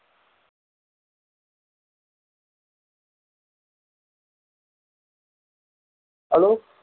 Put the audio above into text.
hello